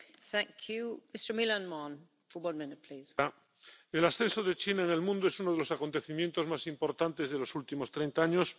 Señora presidenta, el ascenso de China en el mundo es uno de los acontecimientos más importantes de los últimos treinta años.